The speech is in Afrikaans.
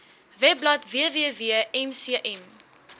webblad www mcm